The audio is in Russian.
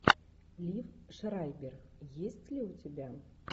лив шрайбер есть ли у тебя